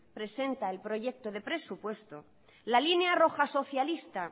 presenta el proyecto de presupuesto la línea roja socialista